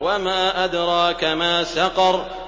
وَمَا أَدْرَاكَ مَا سَقَرُ